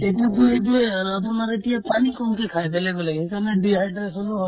এইটো পেলুটোয়ে আৰ্ আপোনাৰ এতিয়া পানী কমকে খাই বেলেগ বেলেগে সেইকাৰণে dehydration ও হয়